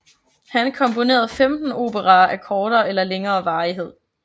Han komponerede 15 operaer af kortere eller længere varighed